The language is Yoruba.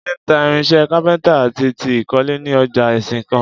Jídé ń ta irinṣẹ́ kápẹ́ntà àti ti ìkọ́lé ní ọjà Ìsìnkàn